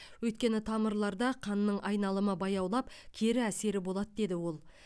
өйткені тамырларда қанның айналымы баяулап кері әсері болады деді ол